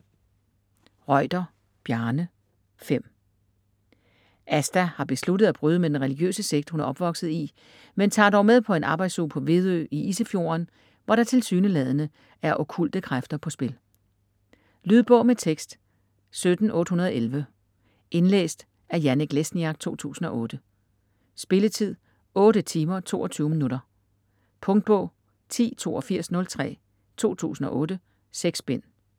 Reuter, Bjarne: Fem Asta har besluttet at bryde med den religiøse sekt, hun er opvokset i, men tager dog med på en arbejdsuge på Vedø i Isefjorden, hvor der tilsyneladende er okkulte kræfter på spil. Lydbog med tekst 17811 Indlæst af Janek Lesniak, 2008. Spilletid: 8 timer, 22 minutter. Punktbog 108203 2008. 6 bind.